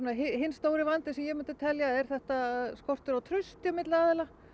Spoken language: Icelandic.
hinn stóri vandinn sem ég myndi telja er skortur á trausti milli aðila